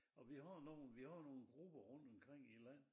Og vi har nogen vi har nogen grupper rundt omkring i æ land